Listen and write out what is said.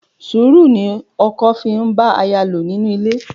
Sùúrù ni ọkọ fi ń bá aya lò nínú ilé.